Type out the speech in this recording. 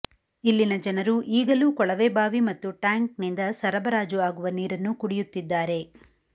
ಇಲ್ಲಿನ ಜನರು ಈಗಲೂ ಕೊಳವೆ ಬಾವಿ ಮತ್ತು ಟ್ಯಾಂಕ್ನಿಂದ ಸರಬರಾಜು ಆಗುವ ನೀರನ್ನು ಕುಡಿಯುತ್ತಿದ್ದಾರೆ